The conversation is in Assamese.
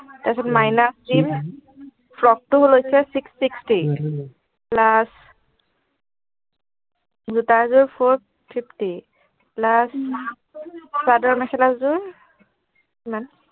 তাৰ পিছত minus দিম ফ্ৰক টো লৈছে six sixty plus জোতা যোৰ four fifty plus চাদৰ মেখেলা যোৰ কিমান